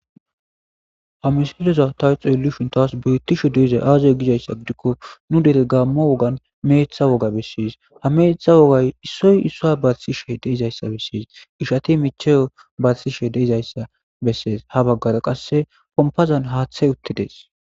amisiloza tawu xeelu shuntaws brittishe deizay aazay gizayssa gidikko nu dere gammo wogan meeththa woga besses ha meetha wogay issoy issoa batisishe deizayssa besses ishati micheyo batsishe deizayssa bessees ha baggara qasse pompazan haaththey uttides